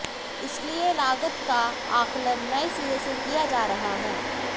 इसलिए लागत का आकलन नए सिरे से किया जा रहा है